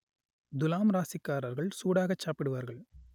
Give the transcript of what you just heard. துலாம் ராசிக்காரர்கள் சூடாகச் சாப்பிடுவார்கள்